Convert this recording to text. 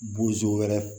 wɛrɛ